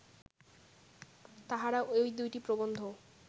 তাঁহারা ঐ দুইটি প্রবন্ধ